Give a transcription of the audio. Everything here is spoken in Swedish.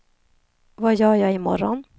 vad gör jag imorgon